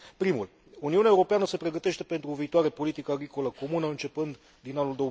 Primul Uniunea Europeană se pregătește pentru o viitoare politică agricolă comună, începând din anul